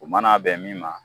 U man'a bɛn min ma